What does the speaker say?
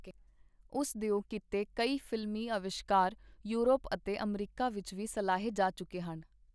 ਉਸ ਦਿਓ ਕੀਤੇ ਕਈ ਫ਼ਿਲਮੀ ਅਵਿਸ਼ਕਾਰ ਯੋਰਪ ਅਤੇ ਅਮਰੀਕਾ ਵਿੱਚ ਵੀ ਸਲਾਹੇ ਜਾ ਚੁਕੇ ਹਨ.